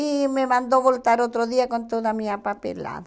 E me mandou voltar outro dia com toda a minha papelada.